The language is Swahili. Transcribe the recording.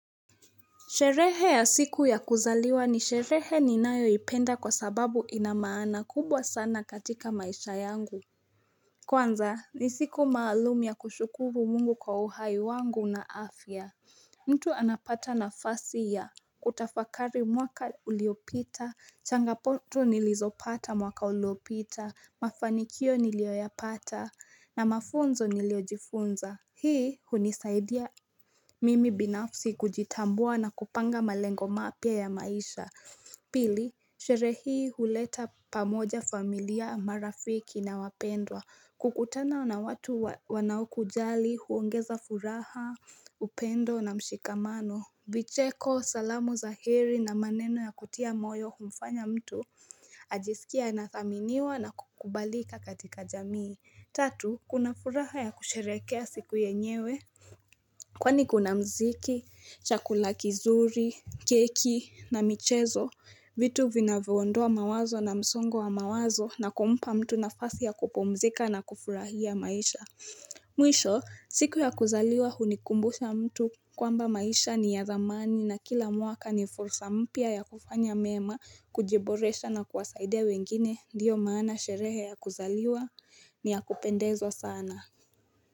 Sherehe ya siku ya kuzaliwa ni sherehe ninayoipenda kwa sababu ina maana kubwa sana katika maisha yangu. Kwanza, ni siku maalumu ya kushukuru mungu kwa uhai wangu na afya. Mtu anapata nafasi ya, kutafakari mwaka uliopita, changamoto nilizopata mwaka uliopita, mafanikio niliyoyapata, na mafunzo niliyojifunza, hii hunisaidia. Mimi binafsi kujitambua na kupanga malengo mapya ya maisha Pili, sherehe hii huleta pamoja familia, marafiki na wapendwa. Kukutana na watu wanaokujali huongeza furaha, upendo na mshikamano. Vicheko, salamu za heri na maneno ya kutia moyo humfanya mtu ajisikie anathaminiwa na kukubalika katika jamii. Tatu, kuna furaha ya kusherehekea siku yenyewe Kwani kuna muziki, chakula kizuri, keki na michezo, vitu vinavyoondoa mawazo na msongo wa mawazo na kumpa mtu nafasi ya kupumzika na kufurahia maisha. Mwisho, siku ya kuzaliwa hunikumbusha mtu kwamba maisha ni ya dhamani na kila mwaka ni fursa mpya ya kufanya mema, kujiboresha na kuwasaidia wengine, ndiyo maana sherehe ya kuzaliwa ni ya kupendezwa sana.